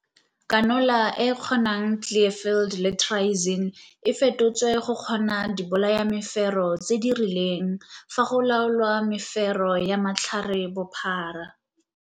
Kanola e e kgonang Clearfield, Cl, le Triazine, TT, e fetotswe go kgona dibolayamefero tse di rileng fa go laolwa mefero ya matlharebophara.